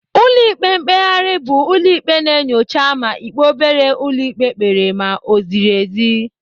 Ụlọ ikpe mkpegharị bụ ụlọ ikpe na-enyocha ma ikpe obere ụlọ ikpe kpere ma o ziri ezi.